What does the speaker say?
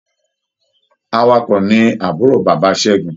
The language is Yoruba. Awakọ̀ ni àbúrò bàbá Ṣẹ́gun.